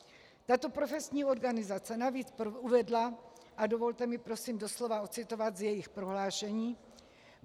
Tato profesní organizace navíc uvedla - a dovolte mi prosím doslova odcitovat z jejich prohlášení: